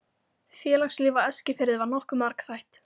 Félagslíf á Eskifirði var nokkuð margþætt.